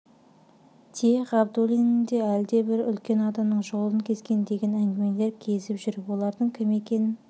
те ғабдуллин де әлдебір үлкен адамның жолын кескен деген әңгімелер кезіп жүр олардың кім екенін